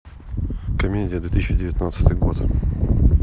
комедия две тысячи девятнадцатый год